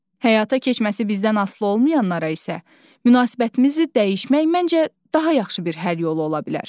Həyata keçməsi bizdən asılı olmayanlara isə münasibətimizi dəyişmək məncə daha yaxşı bir həll yolu ola bilər.